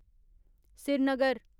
Srinagar